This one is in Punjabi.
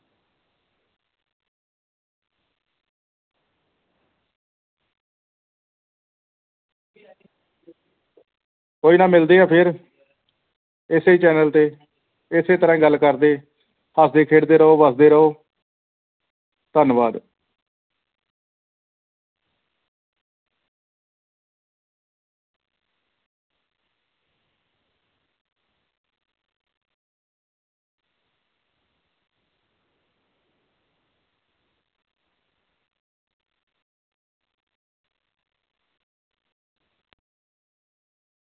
ਕੋਈ ਨਾ ਮਿਲਦੇ ਆ ਫੇਰ ਇਸੇ ਹੀ channel ਤੇ ਇਸੇ ਤਰ੍ਹਾਂ ਹੀ ਗੱਲ ਕਰਦੇ ਹੱਸਦੇ ਖੇਡਦੇ ਰਹੋ ਵਸਦੇ ਰਹੋ